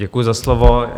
Děkuji za slovo.